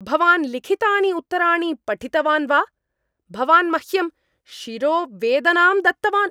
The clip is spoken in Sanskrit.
भवान् लिखितानि उत्तराणि पठितवान् वा? भवान् मह्यं शिरोवेदनां दत्तवान्।